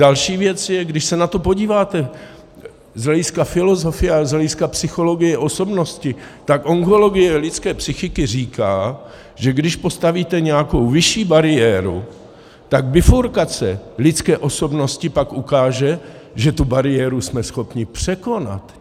Další věc je, když se na to podíváte z hlediska filozofie a z hlediska psychologie osobnosti, tak ontologie lidské psychiky říká, že když postavíte nějakou vyšší bariéru, tak bifurkace lidské osobnosti pak ukáže, že tu bariéru jsme schopni překonat.